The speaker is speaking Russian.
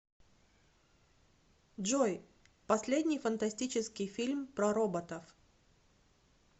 джой последний фантастический фильм про роботов